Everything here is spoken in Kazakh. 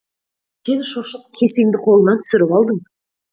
сен шошып кесеңді қолыңнан түсіріп алдың